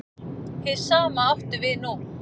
Hið sama átti við nú.